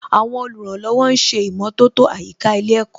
Àwọn olùrànlọ́wọ̀ ń ṣe ìmọ̀tótó àyíká ilé ẹ̀kọ́